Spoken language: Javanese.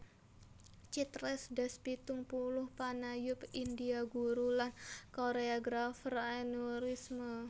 Chitresh Das pitung puluh panayub India guru lan koréografer aneurisme